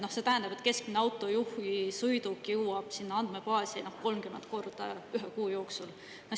See tähendab, et keskmise autojuhi sõiduk jõuab sinna andmebaasi 30 korda ühe kuu jooksul.